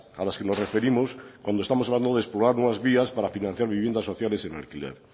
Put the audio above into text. a las que nos referimos cuando estamos hablando de explorar nuevas vías para financiar viviendas sociales en alquiler